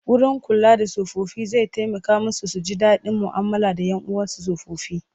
Wurin kula da tsofaffi zai taimaka su ji daɗin mu'amala da 'yan uwansu tsofaffi.